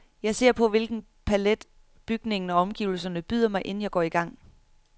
Jeg ser på, hvilken palet bygningen og omgivelserne byder mig, inden jeg går i gang.